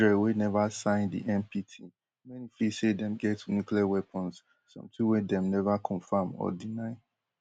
israel wey neva sign di npt many feel say dem get nuclear weapons something wey dem neva confam or deny